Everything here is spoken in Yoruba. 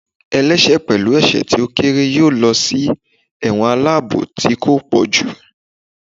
ẹlẹṣẹ pẹlu ẹsẹ ti o kere yọọ losí ẹwọ́n alabò tí ko pojú